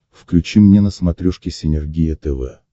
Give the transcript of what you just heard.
включи мне на смотрешке синергия тв